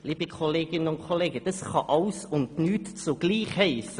Liebe Kolleginnen und Kollegen, das kann alles und nichts zugleich heissen!